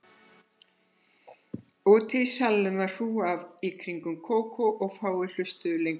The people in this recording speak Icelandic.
Úti í salnum var hrúgan í kringum Kókó og fáir hlustuðu lengur á